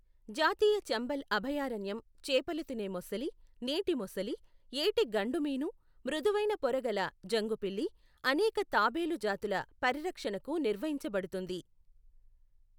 జాతీయ చంబల్ అభయారణ్యం చేపలు తినే మొసలి, నీటి మొసలి, ఏటి గండుమీను, మృదువైన పొర గల జంగుపిల్లి, అనేక తాబేలు జాతుల పరిరక్షణకు నిర్వహించబడుతుంది.